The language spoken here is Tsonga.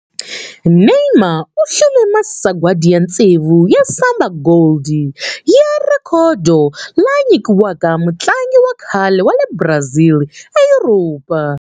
Neymar u hlule masagwadi ya tsevu ya Samba Gold ya rhekhodo, lama nyikiwaka mutlangi wa kahle wa le Brazil eYuropa.